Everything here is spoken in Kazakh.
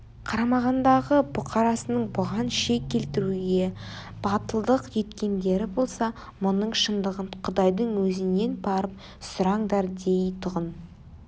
қарамағындағы бұқарасының бұған шек келтіруге батылдық еткендері болса мұның шындығын құдайдың өзінен барып сұраңдар дейтұғын